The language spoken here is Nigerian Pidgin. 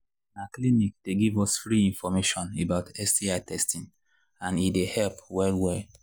na clinic they give us free information about sti testing and he they help well well